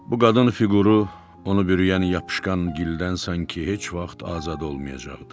Bu qadın fiquru onu bürüyən yapışqan gildən sanki heç vaxt azad olmayacaqdı.